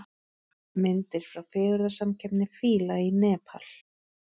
Myndir frá fegurðarsamkeppni fíla í Nepal